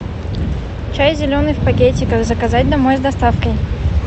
чай зеленый в пакетиках заказать домой с доставкой